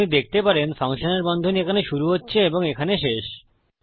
আপনি দেখতে পারেন ফাংশনের বন্ধনী এখানে শুরু হচ্ছে এবং এখানে শেষ